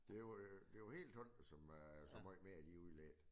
Det var jo helt tombet så så meget mere de udledte